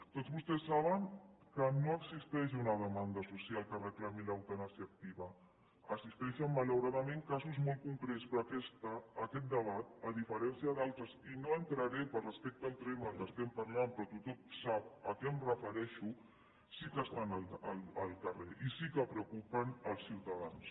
tots vostès saben que no existeix una demanda social que reclami l’eutanàsia activa existeixen malauradament casos molt concrets però aquest debat a diferència d’altres i no entraré per respecte al tema que estem parlant però tothom sap a què em refereixo que sí que estan al carrer i sí que preocupen els ciutadans